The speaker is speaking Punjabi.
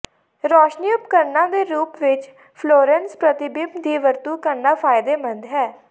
ਰੋਸ਼ਨੀ ਉਪਕਰਣਾਂ ਦੇ ਰੂਪ ਵਿੱਚ ਫਲੋਰੈਂਸ ਪ੍ਰਤੀਬਿੰਬ ਦੀ ਵਰਤੋਂ ਕਰਨਾ ਫਾਇਦੇਮੰਦ ਹੈ